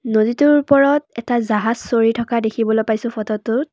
নদীটোৰ ওপৰত এটা জাহাজ চলি থকা দেখিবলৈ পাইছোঁ ফটোটোত।